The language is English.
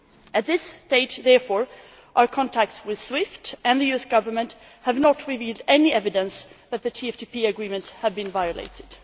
At this stage, therefore, our contacts with SWIFT and the US Government have not really given any evidence that the TFTP Agreement had been violated.